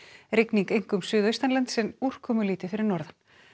rigning einkum suðaustanlands en úrkomulítið fyrir norðan